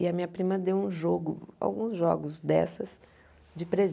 E a minha prima deu um jogo, alguns jogos dessas, de